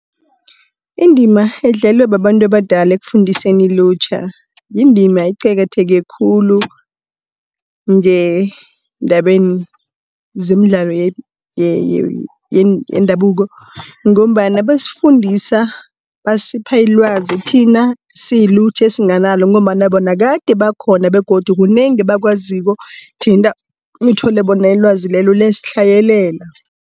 Indima edlalwa babantu abadala ekufundiseni ilutjha, yindima eqakatheke khulu ngeendabeni zemidlalo yendabuko ngombana basifundisa, basipha ilwazi thina siyilutjha esinganalo ngombana bona gade bakhona begodu kunengi abakwaziko thina uthole bona ilwazi lelo liyasitlhayelela.